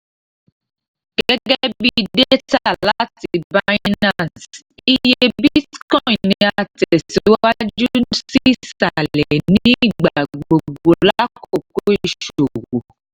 gẹgẹbi data lati binance iye bitcoin ni a tẹ siwaju si isalẹ ni igbagbogbo lakoko iṣowo